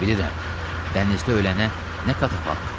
Bilirəm, dənizdə ölənə nə katafalk.